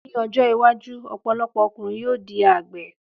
Ní ọjọ́ iwájú, ọ̀pọ̀lọpọ̀ ọkùnrin yóò di àgbẹ̀.